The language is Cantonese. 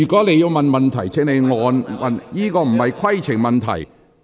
你剛才提出的不是規程問題。